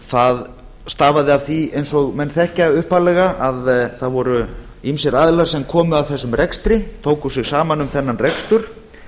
það stafaði af því eins og menn þekkja upphaflega að það voru ýmsir aðilar sem komu að þessum rekstri tóku sig saman um þennan rekstur